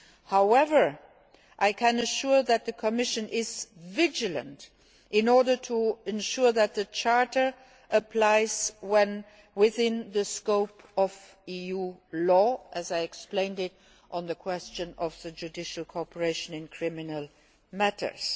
However, I can assure you that the Commission is vigilant in ensuring that the Charter applies within the scope of EU law, as I explained on the question of judicial cooperation in criminal matters.